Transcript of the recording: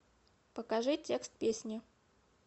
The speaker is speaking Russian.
покажи текст песни